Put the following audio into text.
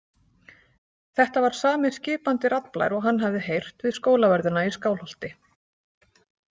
Þetta var sami skipandi raddblær og hann hafði heyrt við Skólavörðuna í Skálholti.